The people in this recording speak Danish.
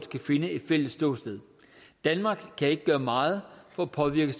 kan finde et fælles ståsted danmark kan ikke gøre meget for at påvirke